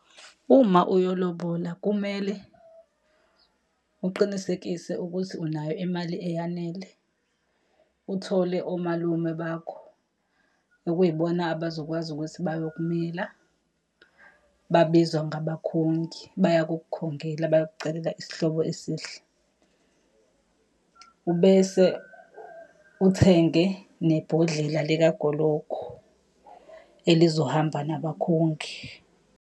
Uma uyolobola kumele uqinisekise ukuthi unayo imali eyanele, uthole omalume bakho, okuyibona abazokwazi ukuthi bayokumela. Babizwa ngabakhongi, bayakukhongela bayokucelela isihlobo esihle. Ubese uthenge nebhodlela likagologo, elizohamba nabakhongi.